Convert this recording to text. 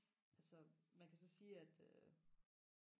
altså man kan så sige at øh